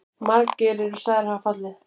Margir eru sagðir hafa fallið.